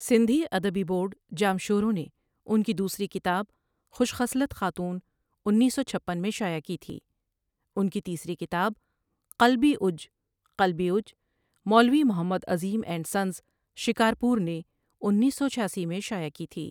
سندھی ادبی بورڈ جامشورو نے ان کی دوسری کتاب خوش خصلت خاتون انیس سو چھپن میں شائع کی تھی ان کی تیسری کتاب قلبی اُج قلبی اڃ Maulvi Muhammad Azeem and sons, Shikarpur نے انیس سو چھاسی میں شائع کی تھی